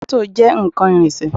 Mọ́tò jẹ́ nǹkan ìrìnsẹ̀